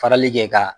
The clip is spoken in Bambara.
Farali kɛ ka